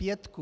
Pětku!